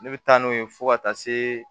Ne bɛ taa n'o ye fo ka taa se